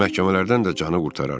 Məhkəmələrdən də canı qurtarar.